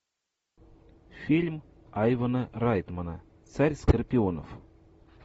фильм айвана райтмана царь скорпионов